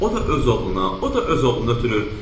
O da öz oğluna, o da öz oğlunu ötürür.